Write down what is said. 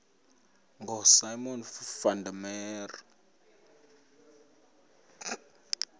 ngosimon van der